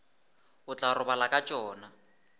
o tla robala ka tšona